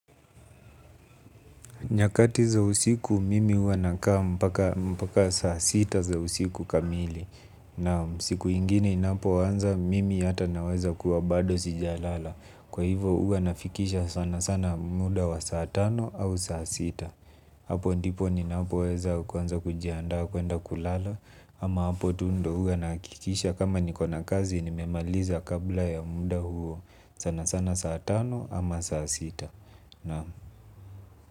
Nyakati za usiku mimi huwa nakaa mpaka saa sita za usiku kamili. Naam siku ingine inapoanza mimi hata naweza kuwa bado sijalala. Kwa hivyo huwa nafikisha sana sana muda wa saa tano au saa sita. Hapo ndipo ninapoweza kuanza kujiandaa kuenda kulala. Ama hapo tu ndo huwa nahakikisha kama niko na kazi nimemaliza kabla ya muda huo sana sana saa tano ama saa sita. Naam.